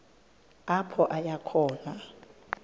apho aya khona